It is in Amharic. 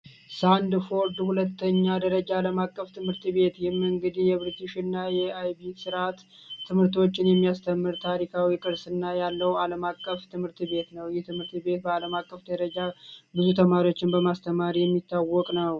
ሳንፎርድ ሁለተኛ ደረጃ ዓለም አቀፍ ትምህርት ቤት ይህ እንግዲህ የብሪቲሽና የአይር ስርዓት ትምህርቶችን የሚያስተምር ታሪካዊ ቅርስና ያለው ዓለም አቀፍ ትምህርት ቤት ነው። ይህ ትምህርት ቤት በአለም አቀፍ ደረጃ ብዙ ተማሪዎችን በማስተማር የሚታወቅ ነው።